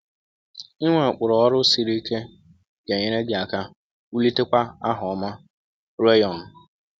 Inwe ụkpụrụ ọrụ siri ike ga-enyere gị aka wulitekwa aha ọma.” – Reyon.